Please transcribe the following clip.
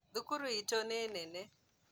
Thukuru itũ nĩ nene